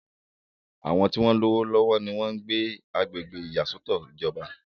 àwọn tí wọ́n lówó lọ́wọ́ ni wọ́n ń gbé agbègbè ìyàsọ́tọ̀ ìjọba